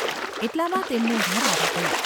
એટલામાં તેમનું ઘર આવી ગયું.